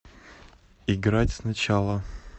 играть сначала